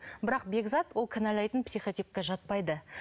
бірақ бекзат ол кінәлайтын психотипке жатпайды